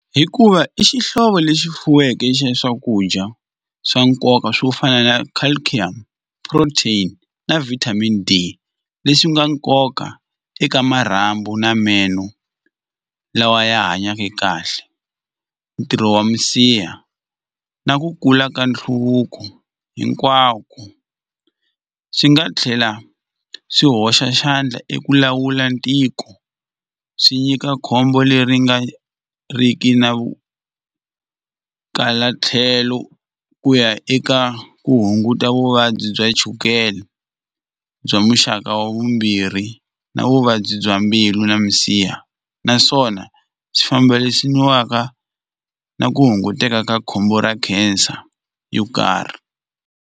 Hikuva i xihlovo lexi fuweke xa swakudya swa nkoka swo fana na calcium protein na vitamin D leswi nga nkoka eka marhambu na meno lawa ya hanyaka kahle ntirho wa misiha na ku kula ka nhluvuko hinkwako swi nga tlhela swi hoxa xandla eku lawula ntiko swi nyika khombo leri nga ri ki na kala tlhelo ku ya eka ku hunguta vuvabyi bya chukele bya muxaka wa vumbirhi na vuvabyi bya mbilu na misiha naswona byi fambisiwaka na ku hunguteka ka khombo ra cancer yo karhi.